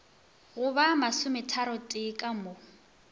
go ba masometharotee ka mo